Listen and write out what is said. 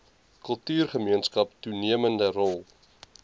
kultuurgemeenskap toenemende rol